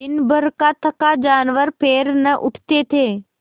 दिनभर का थका जानवर पैर न उठते थे